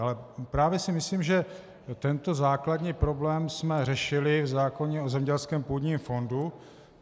Ale právě si myslím, že tento základní problém jsme řešili v zákoně o zemědělském půdním fondu.